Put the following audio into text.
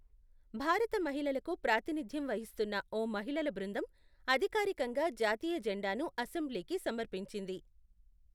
భారత మహిళలకు ప్రాతినిధ్యం వహిస్తున్న ఓ మహిళల బృందం, అధికారికంగా జాతీయ జెండాను అసెంబ్లీకి సమర్పించింది.